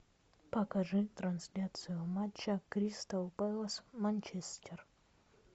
покажи трансляцию матча кристал пэлас манчестер